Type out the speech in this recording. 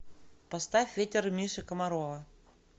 поставь ветер миши комарова